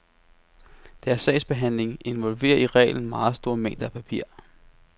Deres sagsbehandling involverer i reglen meget store mængder af papir.